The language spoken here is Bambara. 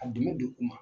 A dɛmɛ don u ma